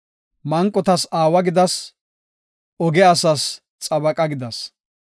Manqotas aawa gidas; oge asas xabaqa gidas.